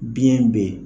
Biyɛn bɛ yen